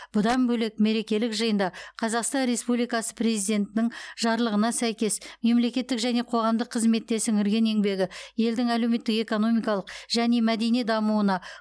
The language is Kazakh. бұдан бөлек мерекелік жиында қазақстан республикасы президентінің жарлығына сәйкес мемлекеттік және қоғамдық қызметте сіңірген еңбегі елдің әлеуметтік экономикалық және мәдени дамуына